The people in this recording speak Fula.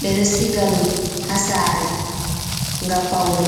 ɓeɗo siga ɗum ha sare ngam paune.